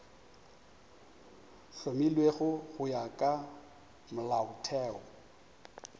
hlomilwego go ya ka molaotheo